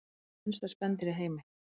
Hvert er minnsta spendýr í heimi?